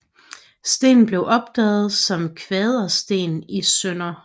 Stenen blev opdaget som Kvadersten i Sdr